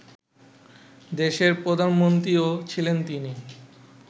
দেশের প্রধানমন্ত্রীও ছিলেন তিনি